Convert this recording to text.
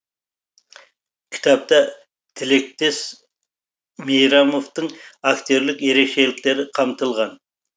кітапта тілектес мейрамовтың актерлік ерекшеліктері қамтылған